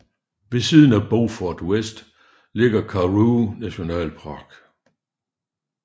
Ved siden af Beaufort West ligger Karoo nationalpark